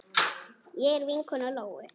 Ég er vinkona Lóu.